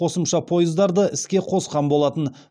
қосымша пойыздарды іске қосқан болатын